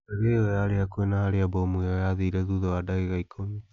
Ndege ĩyo yarĩ hakuhĩ na harĩa mbomu ĩyo yaathire thutha wa ndagĩka ikũmi.